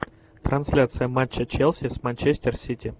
трансляция матча челси с манчестер сити